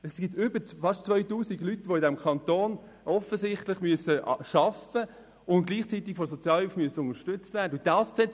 Es gibt beinahe 2000 Leute in diesem Kanton, die offensichtlich arbeiten und gleichzeitig von der Sozialhilfe unterstützt werden müssen.